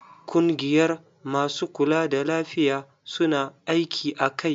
Kungiyar masu kula da lafiya, su na aiki a kai.